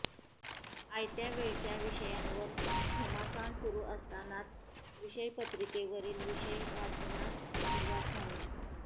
आयत्या वेळच्या विषयांवर घमासान सुरु असतानाच विषयपत्रिकेवरील विषय वाचनास सुरुवात झाली